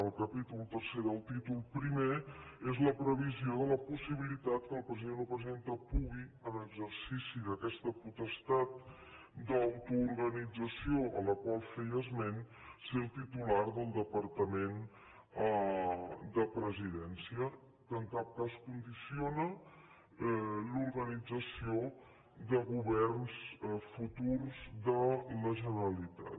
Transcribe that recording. el capítol iii del títol i és la previsió de la possibilitat que el president o presidenta pugui en exercici d’aquesta potestat d’autoorganització a la qual feia esment ser el titular del departament de presidència que en cap cas condiciona l’organització de governs futurs de la generalitat